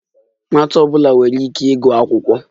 Nwatakịrị ọ bụla nwere ikike ịga akwụkwọ.